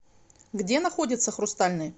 где находится хрустальный